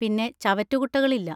പിന്നെ ചവറ്റുകുട്ടകളില്ല.